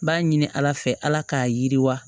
N b'a ɲini ala fɛ ala k'a yiriwa